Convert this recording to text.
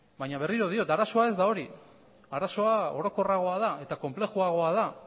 baina berriro diot arazoa ez da hori arazoa orokorragoa da eta konplejoagoa da